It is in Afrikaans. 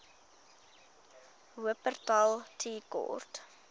wupperthal tea court